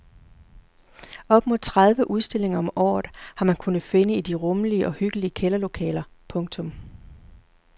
Op mod tredive udstillinger om året har man kunnet finde i de rummelige og hyggelige kælderlokaler. punktum